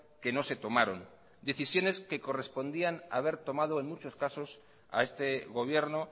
que no se tomaron decisiones que correspondían haber tomado en muchos casos a este gobierno